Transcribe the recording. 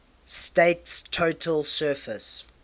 state's total surface